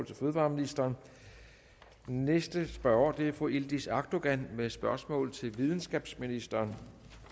til fødevareministeren næste spørger er fru yildiz akdogan med spørgsmål til videnskabsministeren